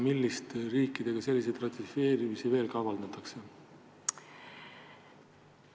Milliste riikidega selliseid lepinguid veel kavandatakse?